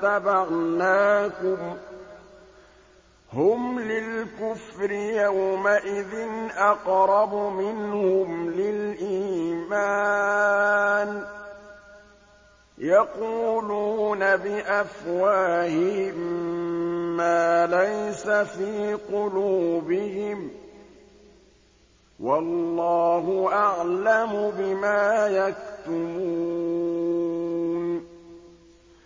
لَّاتَّبَعْنَاكُمْ ۗ هُمْ لِلْكُفْرِ يَوْمَئِذٍ أَقْرَبُ مِنْهُمْ لِلْإِيمَانِ ۚ يَقُولُونَ بِأَفْوَاهِهِم مَّا لَيْسَ فِي قُلُوبِهِمْ ۗ وَاللَّهُ أَعْلَمُ بِمَا يَكْتُمُونَ